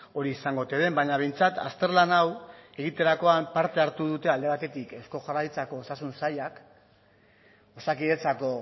hori izango ote den baina behintzat azterlan hau egiterakoan parte hartu dute alde batetik eusko jaurlaritzako osasun sailak osakidetzako